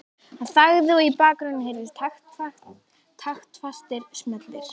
Hann þagði og í bakgrunni heyrðust taktfastir smellir.